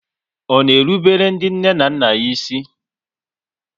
Ọ na erubele ndị nne na nna ya ísì?